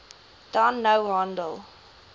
dan nou handel